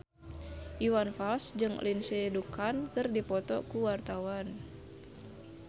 Iwan Fals jeung Lindsay Ducan keur dipoto ku wartawan